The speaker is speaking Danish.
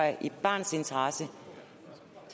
i barnets interesse